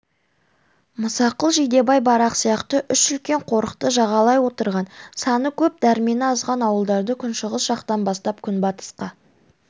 мұсақұл жидебай барақ сияқты үш үлкен қорықты жағалай отырған саны көп дәрмені азған ауылдарды күншығыс жақтан бастап күнбатысқа